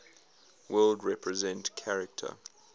world represent character